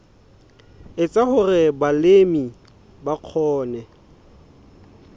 etsa hore balemi ba kgone